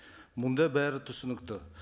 мұнда бәрі түсінікті